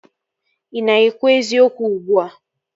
Ị na-ekwu eziokwu ugbua?